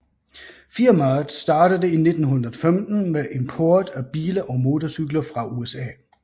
Firmaet startede i 1915 med import af biler og motorcykler fra USA